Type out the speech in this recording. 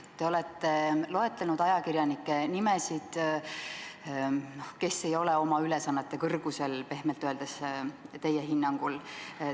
Te olete loetlenud ajakirjanikke, kes pehmelt öeldes ei ole oma ülesannete kõrgusel, teie hinnangul.